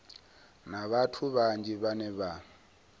na vhathu vhanzhi vhane vha